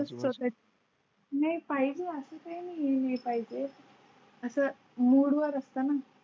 नाही पाहिजे असं काही नाही पाहिजे. आसाम मूड वर असताना.